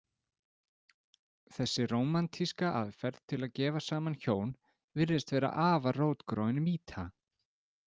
Þessi rómantíska aðferð til að gefa saman hjón virðist vera afar rótgróin mýta.